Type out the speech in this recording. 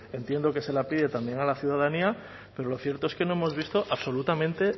entiendo que se la pide también a la ciudadanía pero lo cierto es que no hemos visto absolutamente